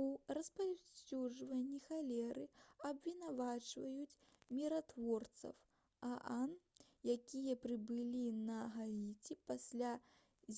у распаўсюджванні халеры абвінавачваюць міратворцаў аан якія прыбылі на гаіці пасля